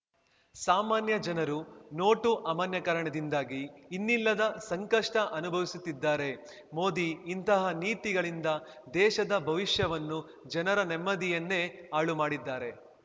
ಸಾಮಾನ್ಯ ಜನರು ನೋಟು ಅಮಾನ್ಯೀಕರಣದಿಂದಾಗಿ ಇನ್ನಿಲ್ಲದ ಸಂಕಷ್ಟಅನುಭವಿಸುತ್ತಿದ್ದಾರೆ ಮೋದಿ ಇಂತಹ ನೀತಿಗಳಿಂದ ದೇಶದ ಭವಿಷ್ಯವನ್ನು ಜನರ ನೆಮ್ಮದಿಯನ್ನೇ ಹಾಳು ಮಾಡಿದ್ದಾರೆ